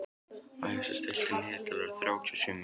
Æsa, stilltu niðurteljara á þrjátíu og sjö mínútur.